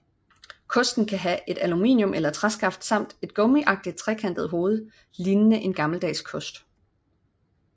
Kosten kan have et aluminium eller træskaft samt et gummiagtigt trekantet hoved lignende en gammeldags kost